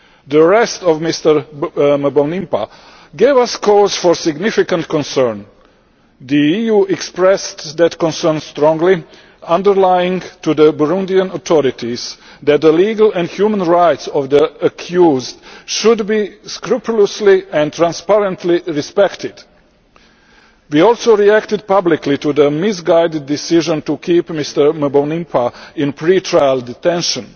The arrest of Mr Mbonimpa gave us cause for significant concern. The EU expressed that concern strongly, underlining to the Burundian authorities that the legal and human rights of the accused should be scrupulously and transparently respected. We also reacted publicly to the misguided decision to keep Mr Mbonimpa in pre trial detention.